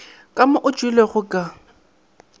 ka mo o tšwelego ka